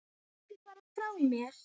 Ekki fara frá mér!